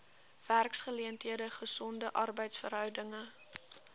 werksgeleenthede gesonde arbeidsverhoudinge